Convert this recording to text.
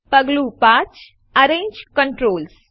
પગલું ૫Arrange કન્ટ્રોલ્સ